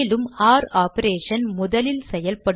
ஒர் operation முதலில் செயல்படுமா